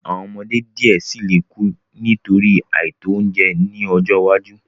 Awọn ọmọde diẹ sii le ku nitori aito ounjẹ ni ọjọ iwaju